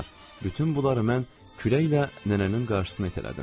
Bütün bunları mən küləklə nənənin qarşısına itələdim.